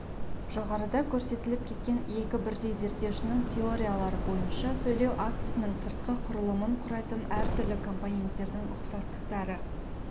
жоғарыда көрсетіліп кеткен екі бірдей зерттеушінің теориялары бойынша сөйлеу актісінің сыртқы құрылымын құрайтын әртүрлі компоненттердің ұқсастықтары